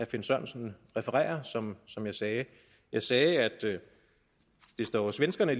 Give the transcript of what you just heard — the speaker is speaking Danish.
finn sørensen refererer som som jeg sagde jeg sagde at det jo står svenskerne